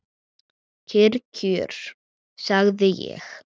Kyrr kjör, sagði ég.